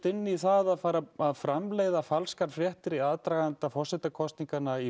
inn í það að fara framleiða falskar fréttir í aðdraganda forsetakosninganna í